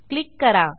click करा